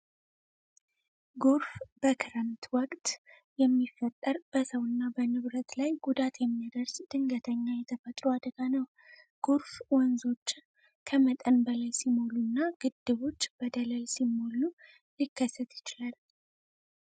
ጎርፍ በክረምት ወቅት የሚፈጠር በሰው እና በንብረት ላይ ጉዳት የሚያደርስ ድንገተኛ የተፈጥሮ አደጋ ነው። ጎርፍ ወንዞች ከመጠን በላይ ሲሞሉ እና ግድቦች በደለል ሲሞሉ ሊከሰት ይችላል።